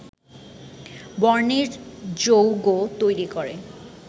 বর্ণের যৌগ তৈরি করে